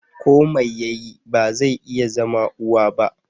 Ko mai yayi, ba zai iya zama uwa ba.